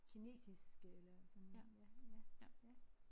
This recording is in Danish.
Kinesiske eller sådan ja ja ja